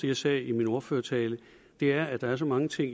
jeg sagde i min ordførertale er at der er så mange ting